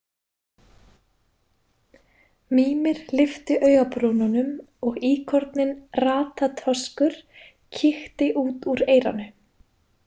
Mímir lyfti augabrúnunum og íkorninn Ratatoskur kíkti út úr eyranu.